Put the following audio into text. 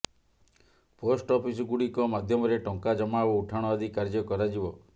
post ଅଫିସ୍ଗୁଡିକ ମାଧ୍ୟମରେ ଟଙ୍କା ଜମା ଓ ଉଠାଣ ଆଦି କାର୍ୟ୍ୟ କରାଯିବ